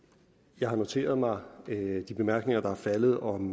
jeg har noteret mig de bemærkninger der er faldet om